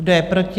Kdo je proti?